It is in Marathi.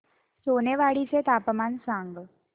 सोनेवाडी चे तापमान सांग